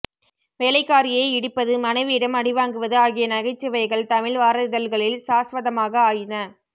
வேலைக்காரியை இடிப்பது மனைவியிடம் அடிவாங்குவது ஆகிய நகைச்சுவைகள் தமிழ் வார இதழ்களில் சாஸ்வதமாக ஆயின